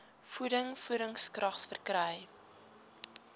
voeding voedingskrag verkry